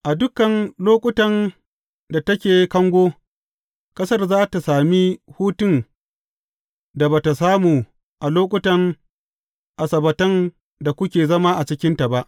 A dukan lokutan da take kango, ƙasar za tă sami hutun da ba tă samu a lokutan asabbatan da kuke zama a cikinta ba.